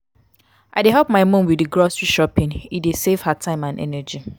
i dey help my mom with di grocery shopping e dey save her time and energy.